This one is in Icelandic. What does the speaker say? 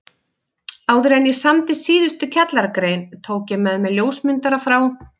Áðuren ég samdi síðustu kjallaragrein tók ég með mér ljósmyndara frá